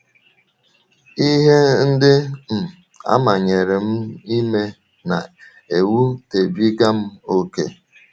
Ihe ndị um a manyere m ime na - ewutebiga m ókè. ”